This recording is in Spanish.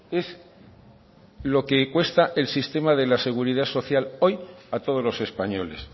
es lo que cuesta el sistema de la seguridad social hoy a todos los españoles